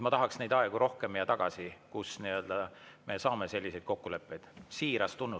Ma tahaks neid aegu rohkem ja tagasi, kus me saame selliseid kokkuleppeid.